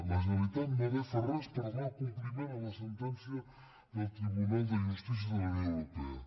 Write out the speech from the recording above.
la generalitat no ha de fer res per donar compliment a la sentència del tribunal de justícia de la unió europea